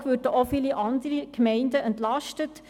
Analog würden auch viele andere Gemeinden entlastet.